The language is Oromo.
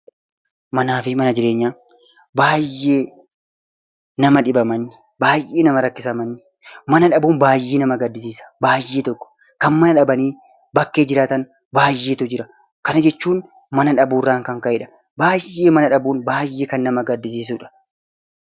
Baay'ee nama dhiba manni! Baay'ee nama rakkisa manni! Mana dhabuun baay'ee nama gaddisiisa! Baay'ee tokko, kan mana dhabanii bakkee jiraatan baay'eetu jira. Kana jechuun mana dhabuurraan kan ka'edha. Baay'ee mana dhabuun baay'ee kan nama gaddisiisudha!